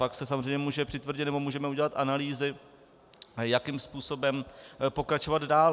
Pak se samozřejmě může přitvrdit nebo můžeme udělat analýzy, jakým způsobem pokračovat dál.